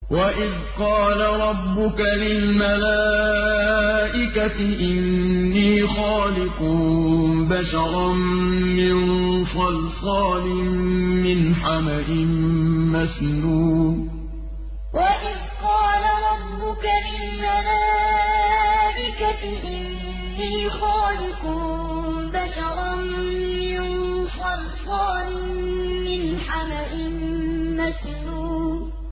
وَإِذْ قَالَ رَبُّكَ لِلْمَلَائِكَةِ إِنِّي خَالِقٌ بَشَرًا مِّن صَلْصَالٍ مِّنْ حَمَإٍ مَّسْنُونٍ وَإِذْ قَالَ رَبُّكَ لِلْمَلَائِكَةِ إِنِّي خَالِقٌ بَشَرًا مِّن صَلْصَالٍ مِّنْ حَمَإٍ مَّسْنُونٍ